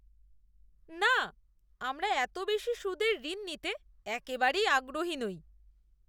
না! আমরা এত বেশি সুদের ঋণ নিতে একেবারেই আগ্রহী নই।